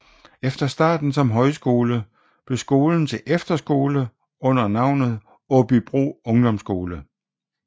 Efter starten som højskole blev skolen til efterskole under navnet Åbybro Ungdomsskole